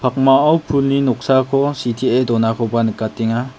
pulni noksako sitee donakoba nikatenga.